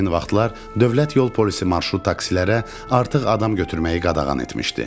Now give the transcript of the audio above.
Həmin vaxtlar dövlət yol polisi marşrut taksilərə artıq adam götürməyi qadağan etmişdi.